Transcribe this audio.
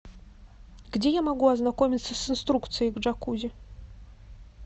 где я могу ознакомиться с инструкцией к джакузи